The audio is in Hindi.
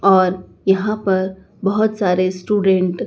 और यहां पर बहोत सारे स्टूडेंट --